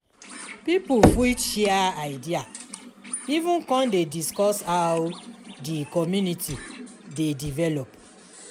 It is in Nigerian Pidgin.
pipo fit share idea even con dey discuss how di community dey develop